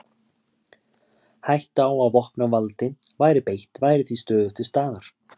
Hætta á að vopnavaldi væri beitt var því stöðugt til staðar.